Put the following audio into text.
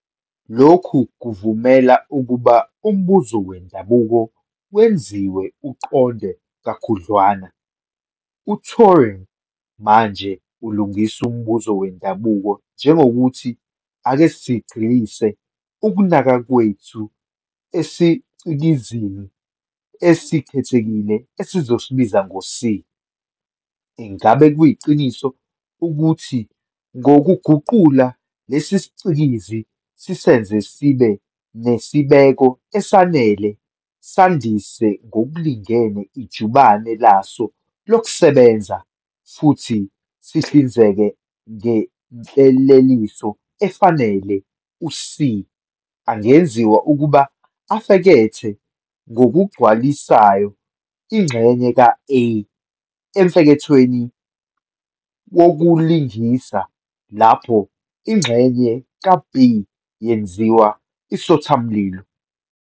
Lokhu kuvumela ukuba umbuzo wendabuko wenziwe uqonde kakhudlwana. uTuring manje ulungisa umbuzo wendabuko njengothi "Ake sigxilise ukunaka kwethu esicikizini esikhethekile esizosibiza C. Ingabe kuyiqiniso ukuthi ngokuguqula lesicikizi sisenze sibe nesibeko esanele, sandise ngokulingene ijubane laso lokusebenza, futhi sisihlinzeke ngenhleleliso efanele, u-C angenziwa ukuba afekethe ngokugculisayo ingxenye ka-A emfekethweni wokulingisa, lapho ingxenye ka-B yenziwa isothamlilo?"